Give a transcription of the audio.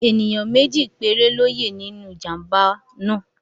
Ẹ̀níyàn méjì péré ló yẹ́ nínú ìjàmbá náà